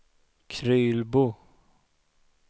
Krylbo